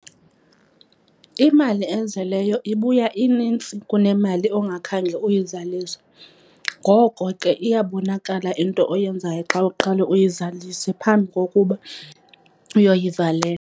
Imali ezeleyo ibuya inintsi kunemali ongakhange uyizalise. Ngoko ke iyabonakala into oyenzayo xa uqale uyizalise phambi kokuba uyoyivalela.